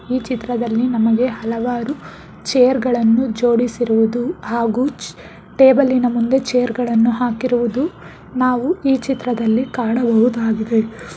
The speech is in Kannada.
ಈ ಚಿತ್ರದಲ್ಲಿ ನಮಗೆ ಹಲವಾರು ಚೇರ್ ಗಳನ್ನು ಜೋಡಿಸಿರುವುದು ಹಾಗೂ ಚ ಟೇಬಲಿ ನ ಮುಂದೆ ಚೇರ್ ಗಳನ್ನು ಹಾಕಿರುವುದು ನಾವು ಈ ಚಿತ್ರದಲ್ಲಿ ಕಾಣಬಹುದಾಗಿದೆ.